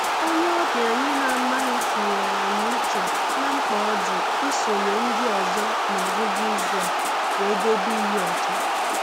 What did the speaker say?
Onye ọbịa anyị na-amaghị tụnyere anyị uche na mkpa ọ dị isonye ndị ọzọ n'ọgwụgwụ izu a wee debe iyi ọcha